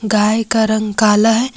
गाय का रंग काला है।